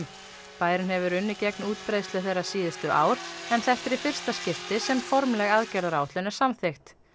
bærinn hefur unnið gegn útbreiðslu þeirra síðustu ár en þetta er í fyrsta skipti sem formleg aðgerðaráætlun er samþykkt